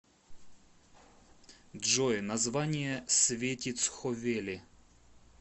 джой название светицховели